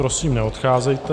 Prosím, neodcházejte.